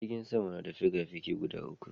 Jirgin sama na da fikafiki guda uku